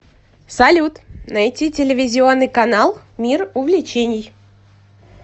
салют найти телевизионный канал мир увлечений